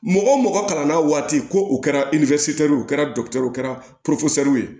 Mɔgɔ mɔgɔ kalanna waati ko u kɛra ye u kɛra dɔkitɛriw kɛra